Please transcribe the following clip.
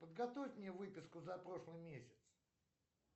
подготовь мне выписку за прошлый месяц